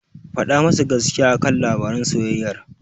Faɗa masa gaskiya a kan labaran soyayyar.